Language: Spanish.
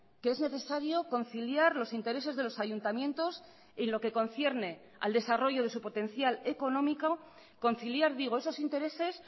que es necesario conciliar los intereses de los ayuntamientos en lo que concierne al desarrollo de su potencial económico conciliar digo esos intereses